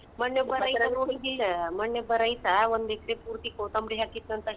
ಮೊನ್ನೆ ಒಬ್ಬ ರೈತ ನೋಡಿದ್ಯಿಲ್ಲ, ಮೊನ್ನೆ ಒಬ್ ರೈತ ಒಂದ್ ಎಕ್ರೆ ಪೂರ್ತಿ ಕೋತಂಬ್ರಿ ಹಾಕಿದ್ನಂಥ.